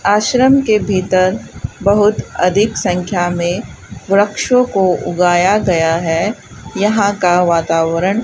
आश्रम के भीतर बहुत अधिक संख्या मे वृक्षों को उगाया गया है यहां का वातावरण --